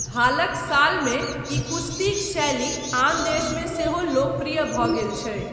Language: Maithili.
हालक सालमे ई कुश्तीक शैली आन देशमे सेहो लोकप्रिय भऽ गेल छै।